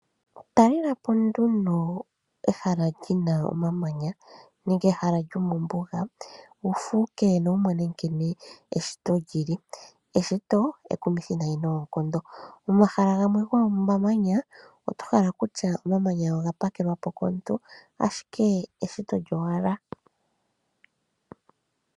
Talelapo nduno ehala li na omamanya nenge ehala lyomombuga wu fuuke nowu mone nkene eshito li li. Eshito ekumithi noonkondo. Momahala gamwe gomamanya oto hala kutya oga pakelwa po komuntu ashike eshito lyowala.